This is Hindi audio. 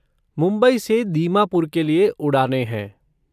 मुंबई से दीमापुर के लिए उड़ानें हैं।